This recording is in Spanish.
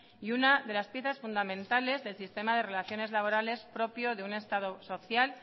y una de las piezas fundamentales del sistema de relaciones laborales propio de un estado social